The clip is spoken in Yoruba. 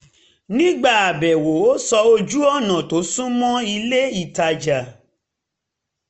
nígbà àbẹ̀wò ó sọ ojú-ọ̀nà tó sunmọ́ ilé-ìtajà